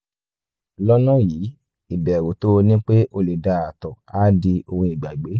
lọ́nà yìí ìbẹ̀rù tó o ní pé o lè da ààtọ̀ á di ohun ìgbàgbé